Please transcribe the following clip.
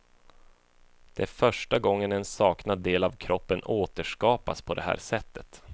Det är första gången en saknad del av kroppen återskapas på det här sättet.